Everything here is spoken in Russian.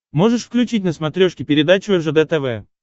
можешь включить на смотрешке передачу ржд тв